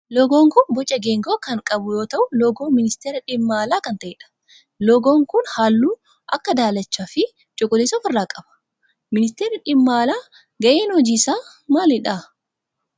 Loogoon kun boca geengoo kan qabu yoo ta'u loogoo ministeera dhimma alaa kan ta'edha. Loogoon kun halluu akka daalachaa fi cuquliisa of irraa qaba. Ministeerri dhimma alaa gaheen hojii isaa maalidha?